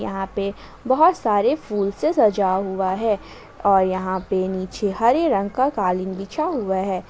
यहाँ पे बहुत सारे फूल से सजा हुआ है और यहां पे नीचे हरे रंग का कालीन बिछा हुआ है।